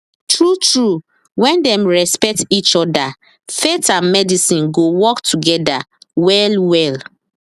true truewhen dem respect each other faith and medicine go work together well well